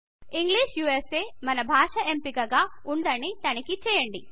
English USA మన భాష ఎంపికగా ఉందని తనిఖీ చేయండి